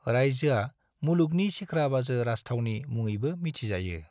रायजोआ 'मुलुगनि सिख्रा बाजो राजथावनि' मुङैबो मिथिजायो।